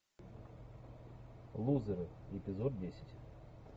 лузеры эпизод десять